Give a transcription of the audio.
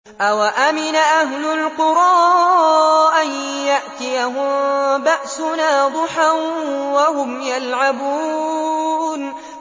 أَوَأَمِنَ أَهْلُ الْقُرَىٰ أَن يَأْتِيَهُم بَأْسُنَا ضُحًى وَهُمْ يَلْعَبُونَ